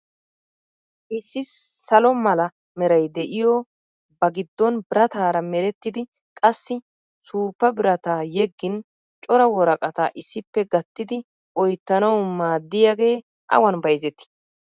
Issi salo mala meray diyo ba giddon birataara merettidi qassi suuppa birataa yeggin cora woraqataa issippe gattidi oyittanawu maaddiyagee awan bayzettii?